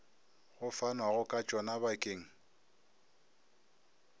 go fanwago ka tšona bakeng